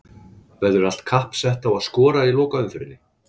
Verður allt kapp sett á að skora í lokaumferðinni?